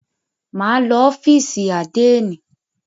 Máa lọ sí ọ́fìsì àdénì.